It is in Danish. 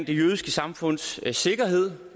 det jødiske samfunds sikkerhed